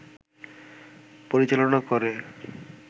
পরিচালনা করে